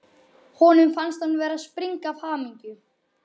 Honum fannst hann vera að springa af hamingju.